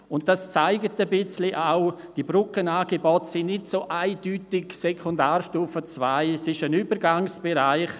Das zeigt, dass diese Brückenangebote nicht eindeutig auf der Sekundarstufe II angesiedelt sind, sondern es handelt sich dabei um einen Übergangsbereich.